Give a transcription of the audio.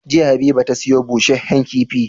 Jiya habiba ta siyo bushehen kifi